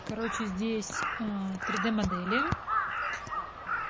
короче здесь три д модели